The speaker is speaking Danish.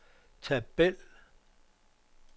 tabel